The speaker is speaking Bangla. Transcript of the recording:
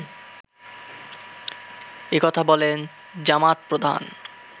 একথা বলেন জামাত প্রধান